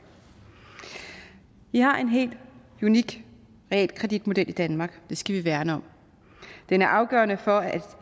vi har en helt unik realkreditmodel i danmark og det skal vi værne om den er afgørende for at